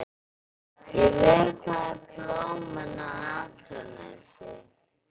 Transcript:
Ég vökvaði blómin á Akranesi.